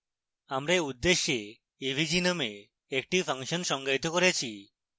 আমরা we উদ্দেশ্যে avg named একটি ফাংশন সংজ্ঞায়িত করেছি